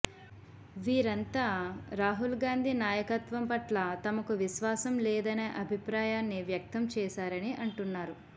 వీరంతా రాహుల్ గాంధీ నాయకత్వం పట్ల తమకు విశ్వాసం లేదనే అభిప్రాయాన్ని వ్యక్తం చేశారని అంటున్నారు